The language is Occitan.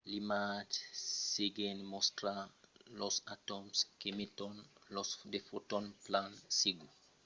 l'imatge seguent mòstra los atòms qu'emeton de fotons. plan segur en realitat los fotons son fòrça mai pichons que los que i a sus l'imatge